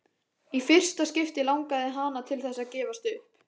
Í fyrsta skipti langaði hana til þess að gefast upp.